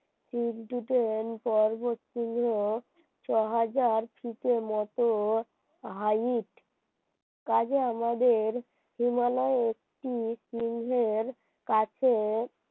তোমরা ছয় হাজার থেকে মতো height কাজে আমাদের হিমালয়ের একটি সিংহের কাছে